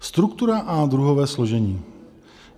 Struktura a druhové složení.